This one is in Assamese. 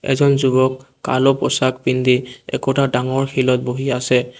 এজন যুৱক পোচাক পিন্ধি একোটা ডাঙৰ শিলত বহি আছে।